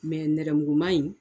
nɛrɛmuguma in